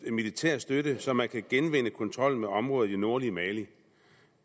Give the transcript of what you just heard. militær støtte så man kan genvinde kontrollen med områder i det nordlige mali